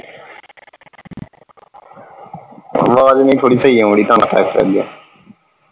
ਆਵਾਜ਼ ਨਹੀਂ ਥੋੜੀ ਸਹੀ ਆਉਣ ਦੀ .